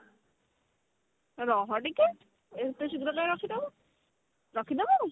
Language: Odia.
ରହଟିକେ ଏତେ ଶୀଘ୍ର କଣ ରଖିଦେବୁ ରଖିଦେବୁ